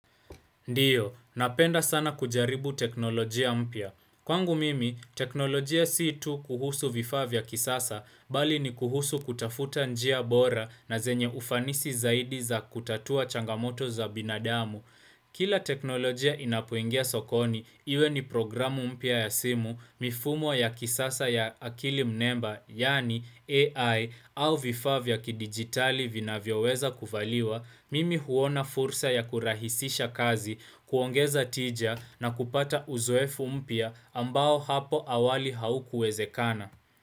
Ndiyo, napenda sana kujaribu teknolojia mpya. Kwangu mimi, teknolojia si tu kuhusu vifaa vya kisasa, bali ni kuhusu kutafuta njia bora na zenye ufanisi zaidi za kutatua changamoto za binadamu. Kila teknolojia inapoingia sokoni, iwe ni programu mpya ya simu mifumo ya kisasa ya akili mnemba, yani AI au vifaa vya kidigitali vinavyoweza kuvaliwa, mimi huona fursa ya kurahisisha kazi, kuongeza tija na kupata uzoefu mpya ambao hapo awali haukuwezekana.